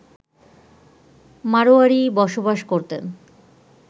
মাড়োয়ারি বসবাস করতেন